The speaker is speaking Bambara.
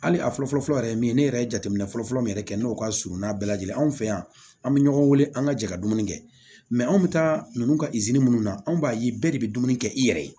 Hali a fɔlɔ fɔlɔ yɛrɛ ye min ye ne yɛrɛ ye jateminɛ fɔlɔfɔlɔ min yɛrɛ kɛ n'o ka surun n'a bɛɛ lajɛlen anw fɛ yan an bɛ ɲɔgɔn wele an ka jɛ ka dumuni kɛ anw bɛ taa ninnu ka minnu na anw b'a ye bɛɛ de bɛ dumuni kɛ i yɛrɛ ye